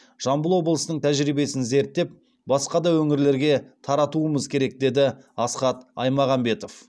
жамбыл облысының тәжірибесін зерттеп басқа да өңірлерге таратуымыз керек деді асхат аймағамбетов